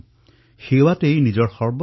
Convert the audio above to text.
মন কী বাততো তেওঁলোকৰ বিষয়ে উল্লেখ কৰা হৈছে